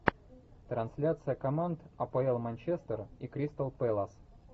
трансляция команд апл манчестер и кристал пэлас